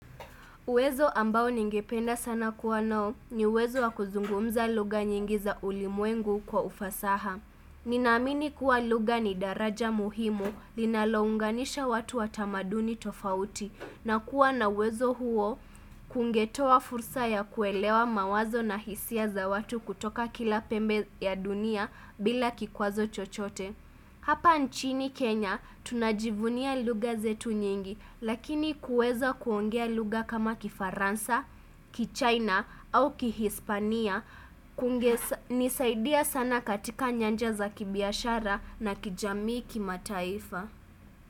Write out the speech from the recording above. Uwezo ambao ningependa sana kuwa nao ni uwezo wa kuzungumza lugha nyingi za ulimwengu kwa ufasaha. Ninaamini kuwa lugha ni daraja muhimu linalounganisha watu wa tamaduni tofauti na kuwa na uwezo huo kungetoa fursa ya kuelewa mawazo na hisia za watu kutoka kila pembe ya dunia bila kikwazo chochote. Hapa nchini Kenya, tunajivunia lugha zetu nyingi, lakini kuweza kuongea lugha kama kifaransa, kichaina au kihispania, kungenisaidia sana katika nyanja za kibiashara na kijamii kimataifa.